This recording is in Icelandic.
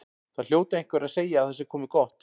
Það hljóta einhverjir að segja að það sé komið gott.